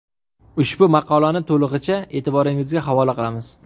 Ushbu maqolani to‘lig‘icha e’tiboringizga havola qilamiz.